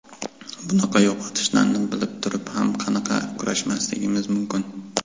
Bunaqa yo‘qotishlarni bilib turib ham qanaqa kurashmasligim mumkin?